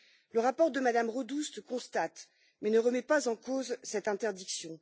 Le rapport de Mme Rodust constate, mais ne remet pas en cause, cette interdiction.